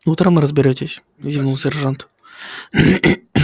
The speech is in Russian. утром разберётесь зевнул сержант